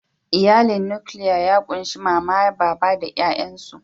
Iyalin nukiliya ya kunshi mama, baba da ƴayansu.